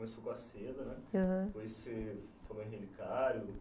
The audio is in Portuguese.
Começou com a seda, né? Aham.epois você falou em relicário.